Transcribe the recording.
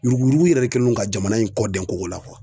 Yuruku yuruku yɛrɛ de kɛlen don ka jamana in kɔ dɛn koko la